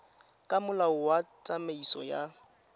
ka molao wa tsamaiso ya